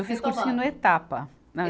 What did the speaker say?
Eu fiz cursinho no Etapa. Na